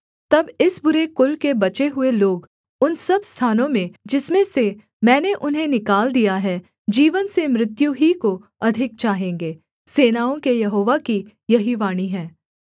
तब इस बुरे कुल के बचे हुए लोग उन सब स्थानों में जिसमें से मैंने उन्हें निकाल दिया है जीवन से मृत्यु ही को अधिक चाहेंगे सेनाओं के यहोवा की यही वाणी है